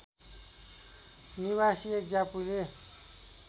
निवासी एक ज्यापुले